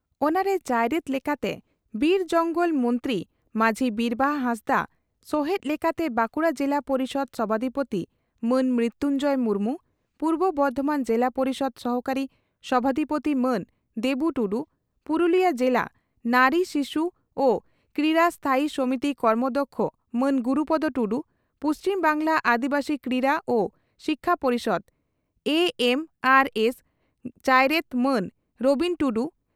ᱚᱱᱟᱨᱮ ᱪᱟᱭᱨᱮᱛ ᱞᱮᱠᱟᱛᱮ ᱵᱤᱨ ᱡᱚᱝᱜᱚᱞ ᱢᱚᱱᱛᱨᱤ ᱢᱟᱹᱡᱷᱤ ᱵᱤᱨᱵᱟᱦᱟ ᱦᱟᱸᱥᱫᱟᱜ, ᱥᱚᱦᱮᱛ ᱞᱮᱠᱟᱛᱮ ᱵᱟᱸᱠᱩᱲᱟ ᱡᱤᱞᱟ ᱯᱚᱨᱤᱥᱚᱫᱽ ᱥᱚᱵᱷᱟᱫᱤᱯᱳᱛᱤ ᱢᱟᱱ ᱢᱨᱤᱛᱩᱱᱡᱚᱭ ᱢᱩᱨᱢᱩ, ᱯᱩᱨᱵᱚ ᱵᱚᱨᱫᱷᱚᱢᱟᱱ ᱡᱤᱞᱟ ᱯᱚᱨᱤᱥᱚᱫᱽ ᱥᱚᱦᱚᱠᱟᱨᱤ ᱥᱚᱵᱷᱟᱫᱤᱯᱳᱛᱤ ᱢᱟᱱ ᱫᱮᱵᱩ ᱴᱩᱰᱩ, ᱯᱩᱨᱩᱞᱤᱭᱟᱹ ᱡᱤᱞᱟ ᱱᱟᱨᱤᱼᱥᱤᱥᱩᱟᱨᱠᱨᱤᱭᱟᱹ ᱥᱛᱷᱟᱭᱤ ᱥᱚᱢᱤᱛᱤ ᱠᱟᱨᱚᱢᱚᱫᱠᱷᱭᱚ ᱢᱟᱱ ᱜᱩᱨᱩᱯᱚᱫᱚ ᱴᱩᱰᱩ, ᱯᱩᱪᱷᱤᱢ ᱵᱟᱝᱜᱽᱞᱟ ᱟᱹᱫᱤᱵᱟᱹᱥᱤ ᱠᱨᱤᱨᱟ ᱳ ᱥᱤᱠᱷᱭᱟᱹ ᱯᱚᱨᱤᱥᱚᱫᱽ (ᱮᱹᱮᱢᱹᱟᱨᱹᱮᱥᱹ) ᱪᱟᱭᱨᱮᱛ ᱢᱟᱱ ᱨᱚᱵᱤᱱ ᱴᱩᱰᱩ